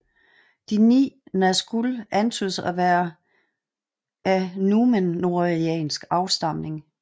De 9 Nazgûl antydes at være af númenoreansk afstamning